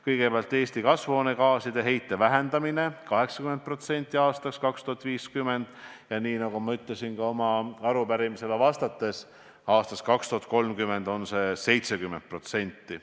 Kõigepealt, Eesti kasvuhoonegaaside heidet tuleb aastaks 2050 vähendada 80% ja, nagu ma arupärimisele vastates ütlesin, aastaks 2030 tuleb heidet vähendada 70%.